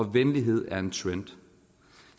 venlighed er en trend